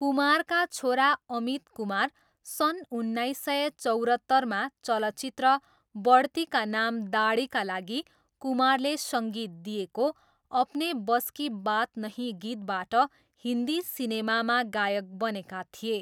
कुमारका छोरा अमित कुमार सन् उन्नाइस सय चौरत्तरमा चलचित्र बढ्ती का नाम दाडीका लागि कुमारले सङ्गीत दिएको 'अपने बस की बात नही' गीतबाट हिन्दी सिनेमामा गायक बनेका थिए।